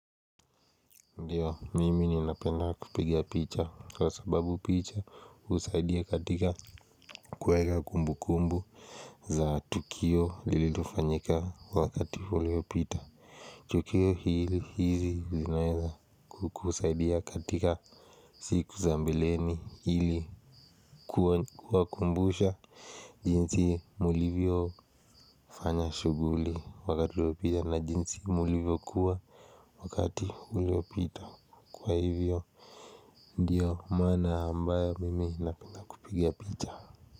Ndiyo mimi ni napenda kupigia picha kwa sababu picha usaidia katika kuweka kumbu kumbu za tukio lililofanyika wakati uleopita Tukio hili hizi uzinaeza kusaidia katika siku za mbileni hili. Kuwa kumbusha jinsi mulivyo fanya shuguli wakati uleopita na jinsi mulivyo kuwa wakati uleopita kwa hivyo. Ndiyo mana ambayo mimi napinda kupigia picha.